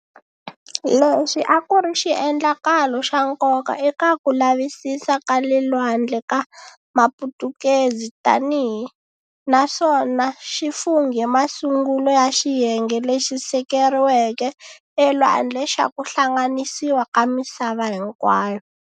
Lexi a ku ri xiendlakalo xa nkoka eka ku lavisisa ka le lwandle ka Maputukezi tanihi naswona xi funghe masungulo ya xiyenge lexi sekeriweke elwandle xa ku hlanganisiwa ka misava hinkwayo.